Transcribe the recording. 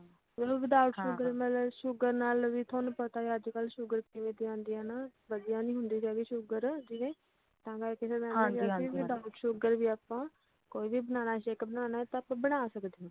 ਉਹਨੂੰ without sugar sugar ਨਾਲ ਵੀ ਤੁਹਾਨੂੰ ਪਤਾ ਹੀ ਆ ਅੱਜ ਕੱਲ੍ਹ sugar ਕਿਵੇਂ ਦੀ ਆਉਂਦੀ ਆ ਹਨਾਂ ਵਧੀਆ ਨੀ ਹੁੰਦੀ ਹੈਗੀ sugar ਜਿਵੇਂ ਏ ਤਾਂ ਕਰ ਕੇ ਫਿਰ mam ਨੇ ਕਿਹਾ ਸੀ without sugar ਵੀ ਆਪਾਂ ਕੋਈ ਵੀ banana shake ਬਨਾਣਾ ਤਾਂ ਆਪਾਂ ਬਣਾ ਸਕਦੇ ਆ